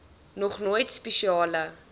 nog nooit spesiale